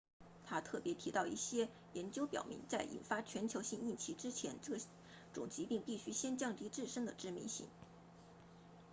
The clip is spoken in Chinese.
他特别提到一些研究表明在引发全球性疫情之前这种疾病必须先降低自身的致命性